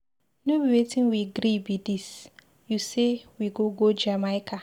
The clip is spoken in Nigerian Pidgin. No be wetin we gree be dis, you say we go go Jamaica.